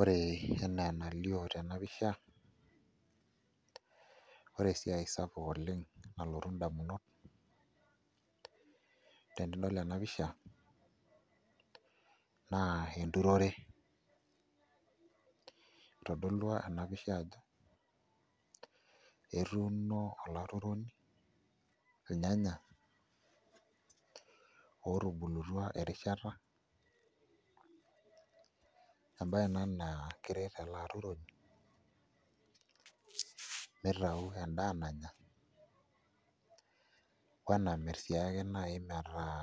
Ore enaa enalio tena pisha, ore esiai sapuk nalotu indamunot tenidol ena pisha naa enturore itodolua ena pisha ajo etuuno alaturoni ilnyanya ootubulutua erishata embaye ena naa keret ele aturoni mitau endaa nanya o enamirr naai sii ake etaa